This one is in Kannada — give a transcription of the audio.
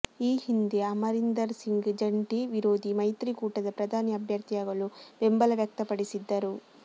ಈ ಹಿಂದೆ ಅಮರಿಂದರ್ ಸಿಂಗ್ ಜಂಟಿ ವಿರೋಧಿ ಮೈತ್ರಿಕೂಟದ ಪ್ರಧಾನಿ ಅಭ್ಯರ್ಥಿಯಾಗಲು ಬೆಂಬಲ ವ್ಯಕ್ತಪಡಿಸಿದ್ದರು